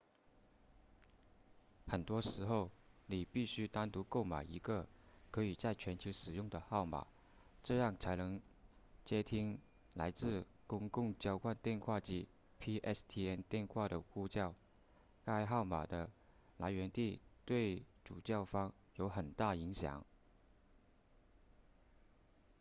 很多时候你必须单独购买一个可以在全球使用的号码这样才能接听来自公共交换电话网 pstn 电话的呼叫该号码的来源地对主叫方有很大影响